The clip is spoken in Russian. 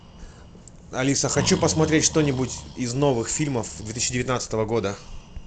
алиса хочу посмотреть что нибудь из новых фильмов две тысячи девятнадцатого года